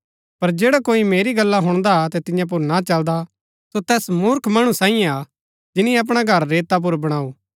पर जैडा कोई मेरी गल्ला हुणदा अतै तियां पुर ना चलदा सो तैस मूर्ख मणु सैईयें हा जिनी अपणा घर रेता पुर बणाऊ